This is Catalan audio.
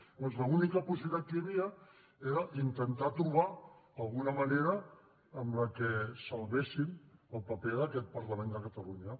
llavors l’única possibilitat que hi havia era intentar trobar alguna manera amb la que salvéssim el paper d’aquest parlament de catalunya